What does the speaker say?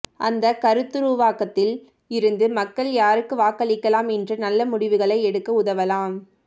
அந்த கருத்துருவாக்கத்தில் இருந்து மக்கள் யாருக்கு வாக்களிக்கலாம் என்ற நல்ல முடிவுகளை எடுக்க உதவலாம்